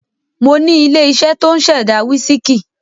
Mo ní ilé-iṣẹ́ tó ń ṣẹ̀dá wísíkì.